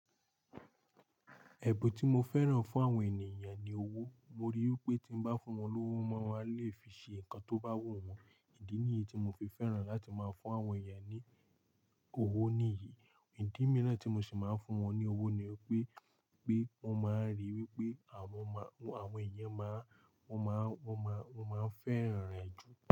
Ẹ̀bùù tí mo fẹ́ràn fún àwọn ènìyàn ni owó. Mo rí i pé tí n bá fún wọn lówó, wọ́n máa le fi ṣe nǹkan tó bá wù wọ́n. Ìdí nìyí tí mo fi fẹ́ràn láti máa fún àwọn ènìyàn ni owó nìyí. Ìdí mìíràn tí mo sì máa ń fún wọn ní wipe pé, wọ́n máa rí wípé àwọn máa, àwọn ènìyàn máa, wọ́n máa, wọ́n máa, wọ́n máa fẹ́ràn rẹ̀ jù.